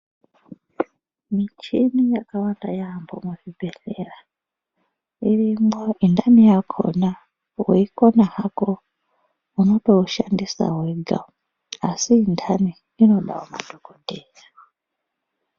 Michini yakawanda yaamho muzvibhedhlera. Irimwo intani yakhona weikona hako unotoishandisa wega asi intani inotodawo madhokodheya.